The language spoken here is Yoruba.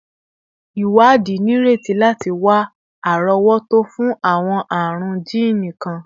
Iwadi nireti lati wa arowoto fun awọn arun jiini kan